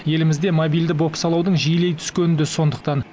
елімізде мобильді бопсалаудың жиілей түскені де сондықтан